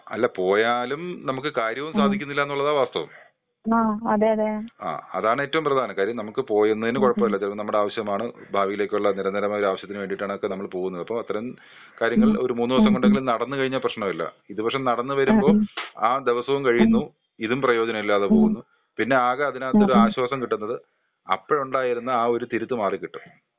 അല്ല, പോയാലും നമുക്ക് കാര്യവും സാധിക്കുന്നില്ലാന്നുള്ളതാണ് വാസ്തവം. ആ അതാണ് ഏറ്റവും പ്രധാനം.കാരൃം നമുക്ക് പോവുന്നതിനു കുഴപ്പല്ല ചിലപ്പോ നമ്മുടെ ആവശൃമാണ്, ഭാവിയിലേക്കുള്ള നിരന്തരമായ ആവശൃത്തിന് വേണ്ടിട്ടാണ് അതൊക്കെ നമ്മൾ പോവുന്നത്, ഇപ്പൊ അത്തരം കാര്യങ്ങൾ ഒരു മൂന്നൂസം കൊണ്ടെങ്കിലും നടന്നു കഴിഞ്ഞാൽ പ്രശ്നമില്ല.ഇത് പക്ഷേ നടന്ന് വരുമ്പോ ആ ദിവസോം കഴിയുന്നു.ഇതും പ്രോയോജനമില്ലാതെ പോവുന്നു.പിന്നെ ആകെ അതിനകത്ത് ഒരാശ്വാസം കിട്ടുന്നത് അപ്പഴുണ്ടായിരുന്ന ആ ഒര് തിരുത്ത് മാറിക്കിട്ടും.